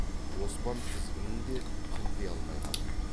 оспан тізгінін де қымти алмай қалып еді